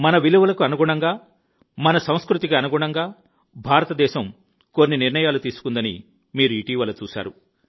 మన విలువలకు అనుగుణంగా మన సంస్కృతికి అనుగుణంగా భారతదేశం కొన్ని నిర్ణయాలు తీసుకుందని మీరు ఇటీవల చూసారు